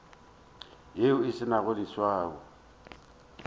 yeo e se nago leswao